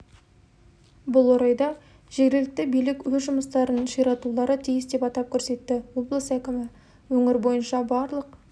бұл орайда жергілікті билік өз жұмыстарын ширатулары тиіс деп атап көрсетті облыс әкімі өңір бойынша барлық